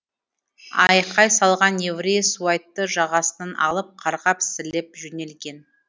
айқай салған еврей суайтты жағасынан алып қарғап сілеп жөнелген